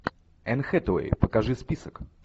энн хэтэуэй покажи список